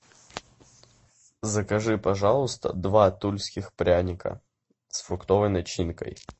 закажи пожалуйста два тульских пряника с фруктовой начинкой